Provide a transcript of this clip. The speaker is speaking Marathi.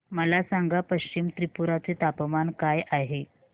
मला सांगा पश्चिम त्रिपुरा चे तापमान काय आहे